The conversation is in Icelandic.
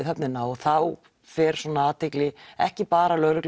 höfnina og þá fer svona athygli ekki bara lögreglu